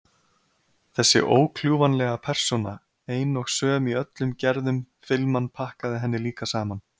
Þessi ókljúfanlega persóna, ein og söm í öllum gerðum filman pakkaði henni líka saman.